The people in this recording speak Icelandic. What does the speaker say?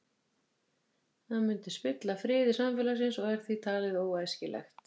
Það myndi spilla friði samfélagsins og er því talið óæskilegt.